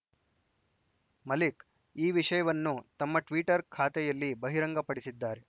ಮಲಿಕ್‌ ಈ ವಿಷಯವನ್ನು ತಮ್ಮ ಟ್ವೀಟರ್‌ ಖಾತೆಯಲ್ಲಿ ಬಹಿರಂಗಪಡಿಸಿದ್ದಾರೆ